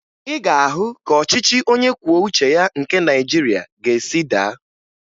Ị ga-ahụ ka ọchịchị onyekwuoucheya nke Nigeria ga-esi daa